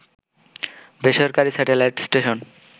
বেসরকারি satellite station